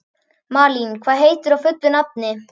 Malín, hvað heitir þú fullu nafni?